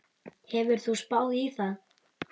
Hefur þú spáð í það?